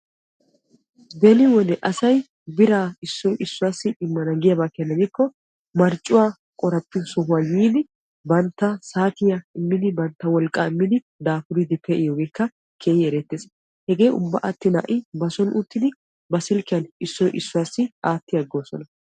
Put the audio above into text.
Beni wode asay biraa issoy issuwassi immana giyaaba keena gidikko marccuwaa qoraphphiyoo sohuwaa yiidi bantta saatiyaa immidi bantta wolqqaa immidi dapuriidi pe"iyoogekka keehi erettees. hegee ubba attin ba soni uttidi ba silkkiyaan issoy issuwaassi aatti aggoosona.